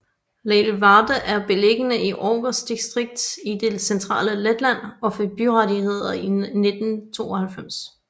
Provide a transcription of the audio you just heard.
Lielvārde er beliggende i Ogres distrikt i det centrale Letland og fik byrettigheder i 1992